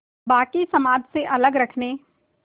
बाक़ी समाज से अलग रखने